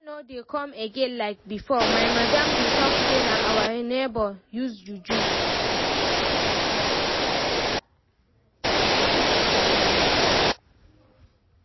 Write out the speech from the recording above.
Customers no dey come again like before, my madam dey talk say na our neigbour use juju